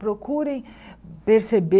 Procurem perceber.